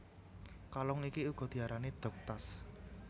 Kalung iki uga diarani dog tags